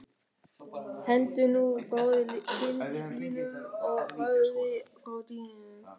Hentu nú frá þér kyndlinum og færðu þig frá dyrunum